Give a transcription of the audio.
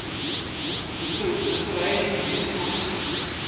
lithuanian musical instruments